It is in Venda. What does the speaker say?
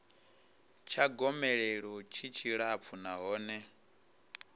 tsha gomelelo tshi tshilapfu nahone